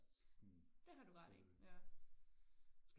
det har du ret i ja